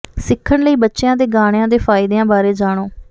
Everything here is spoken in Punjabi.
ਸਿੱਖਣ ਲਈ ਬੱਚਿਆਂ ਦੇ ਗਾਣਿਆਂ ਦੇ ਫਾਇਦਿਆਂ ਬਾਰੇ ਜਾਣੋ